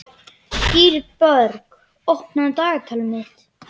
Dýrborg, opnaðu dagatalið mitt.